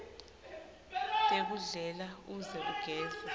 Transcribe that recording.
tekudlela uze ugeze